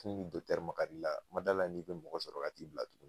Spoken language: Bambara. Tuni dɔtɛri magala ila n ma d'ala i be mɔgɔ sɔrɔ ka t'i bila tuguni